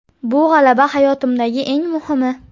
Bu g‘alaba hayotimdagi eng muhimi.